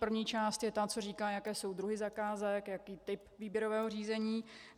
První část je ta, která říká, jaké jsou druhy zakázek, jaký typ výběrového řízení.